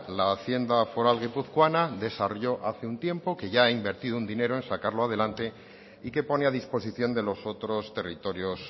la hacienda foral guipuzcoana desarrolló hace un tiempo que ya ha invertido un dinero en sacarlo adelante y que pone a disposición de los otros territorios